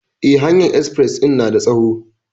Eh, hanyar espres din na da tsawo.